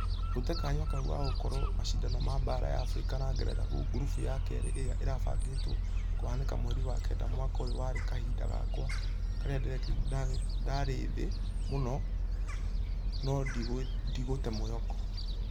Gũte kanya kau gagũkorwi mashidano ma baara ya africa na ngeretha gurubu ya kerĩ ĩrĩa ĩrabangĩtwo kũhanĩka mweri wa kenda mwaka ũyũ warĩ kahinda gakwa karĩa ndqrĩ thĩ mũno nũ ndigũte mwĩhoko.